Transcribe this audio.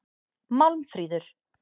Málmfríður